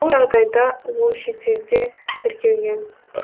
бұл жағдайда ол шетелде тіркелген